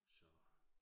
Så